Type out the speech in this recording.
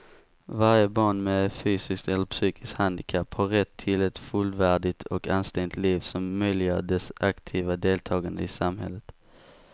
Varje barn med fysiskt eller psykiskt handikapp har rätt till ett fullvärdigt och anständigt liv som möjliggör dess aktiva deltagande i samhället.